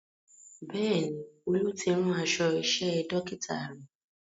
Bẹ́ẹ̀ni, Olú ti rán aṣọ iṣẹ́ Dókítà rẹ̀